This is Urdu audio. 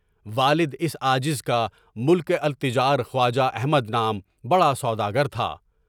والد اس عاجز کا ملک التجار خواجہ احمد نام کا بڑا سوداگر تھا۔